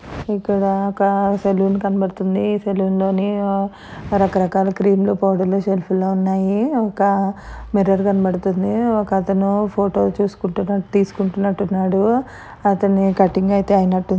ఇక్కడ ఒక సెలూన్ కనబడుతుంది. ఈ సెలూన్ లో రకరకాల క్రీముులు సెల్ఫ్ ల్లో ఉన్నాయి. ఒక మిర్రర్ కనబడుతుంది.ఒకతను ఫోటోలు చూసుకుంటూ తీసుకుంటునట్టున్నాడు.